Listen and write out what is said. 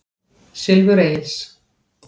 Silfur Egils.